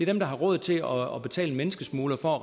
dem der har råd til at betale en menneskesmugler for at